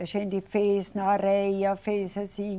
A gente fez na areia, fez assim.